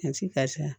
ka ca